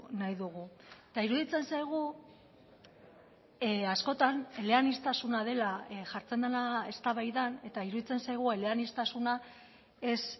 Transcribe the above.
nahi dugu eta iruditzen zaigu askotan eleaniztasuna dela jartzen dena eztabaidan eta iruditzen zaigu eleaniztasuna ez